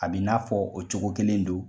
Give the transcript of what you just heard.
A b'i n'a fɔ o cogo kelen do.